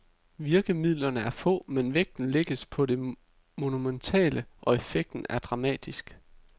Virkemidlerne er få, men vægten lægges på det monumentale, og effekten er dramatisk.